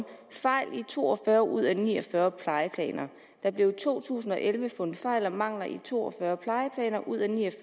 fejl i to og fyrre ud af ni og fyrre plejeplaner der blev i to tusind og elleve fundet fejl og mangler i to og fyrre ud af ni og